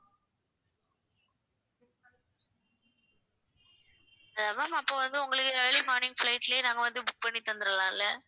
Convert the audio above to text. ma'am அப்ப வந்து உங்களுக்கு early morning flight லயே நாங்க வந்து book பண்ணி தந்திடலாம்ல